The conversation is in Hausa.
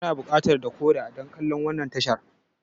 Kana buƙatar decoder dan kallan wannan tashar.